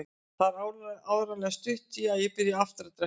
Það var áreiðanlega stutt í að ég byrjaði aftur að drekka.